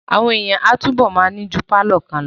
Àwọn èèyàn máa túbọ̀ ma ní ju pálọ̀ kan lọ